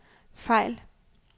fejl